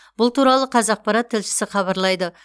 бұл туралы қазақпарат тілшісі хабарлайды